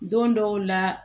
Don dɔw la